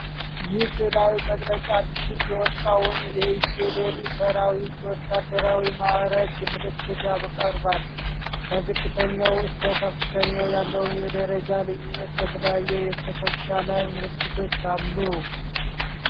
ይህ ሥዕላዊ መግለጫ አዲስ የወጣውን የኢፌዲሪ ሠራዊት የወታደራዊ ማዕረግ ምልክቶችን ያቀርባል። ከዝቅተኛው እስከ ከፍተኛው ያለውን የደረጃ ልዩነት በተለያዩ የትከሻ ላይ ምልክቶች አሉ።